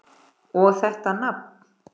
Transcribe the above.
Og þetta nafn!